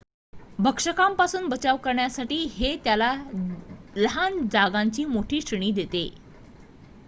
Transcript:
भक्षकांपासून बचाव करण्यासाठी हे त्याला लहान जागांची मोठी श्रेणी देते